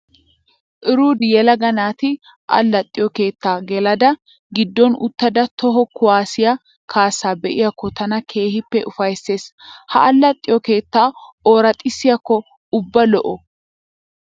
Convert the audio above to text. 'Rudi' yelaga naati allaxxiyoo keettaa gelada giddon uttada toho kuwaasiyaa kaassaa be'iyaakko tana keehippe ufayissees. Ha allaxxiyoo keetta ooraxissiyakko ubba lo'o.